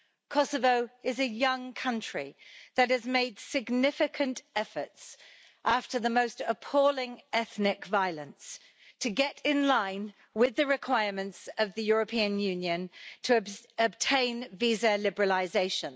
Kosovo is a young country that has made significant efforts, after the most appalling ethnic violence, to get in line with the requirements of the European Union to obtain visa liberalisation.